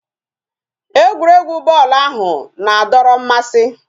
Egwuregwu bọọlụ ahụ na-adọrọ mmasị